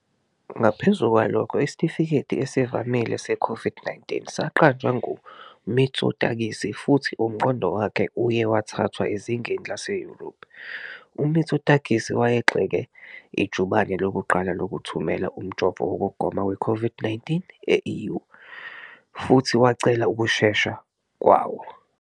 Ngaphezu kwalokho, isitifiketi esivamile se-COVID-19 saqanjwa kuMitsotakis, futhi umqondo wakhe uye wathathwa ezingeni laseYurophu. UMitsotakis wayegxeke ijubane lokuqala lokuthumela umjovo wokugoma we-COVID-19 e-EU, futhi wacela ukushesha kwawo.